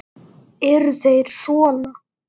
Eru þeir sona?